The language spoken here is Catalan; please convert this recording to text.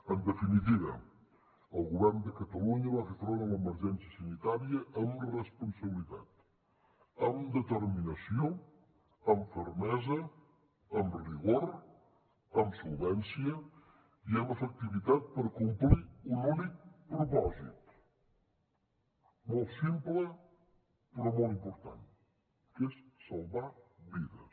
en definitiva el govern de catalunya va fer front a l’emergència sanitària amb responsabilitat amb determinació amb fermesa amb rigor amb solvència i amb efectivitat per complir un únic propòsit molt simple però molt important que és salvar vides